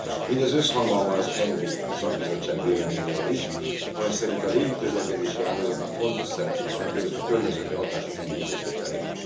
Mindez összhangban van az ENVI szakbizottság véleményével is, amely szerint a légiközlekedési ágazatnak fontos szerepe van a környezeti hatások enyhítése terén.